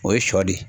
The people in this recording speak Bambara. O ye sɔ de ye